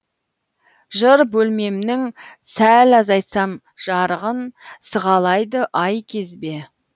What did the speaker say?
жыр бөлмемнің сәл азайтсам жарығын сығалайды ай кезбе